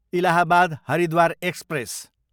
Allahabad, Haridwar express